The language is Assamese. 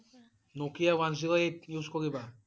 Nokia one zero eight use কৰিবা?